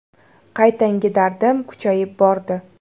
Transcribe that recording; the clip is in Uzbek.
Qaytanga dardim kuchayib bordi.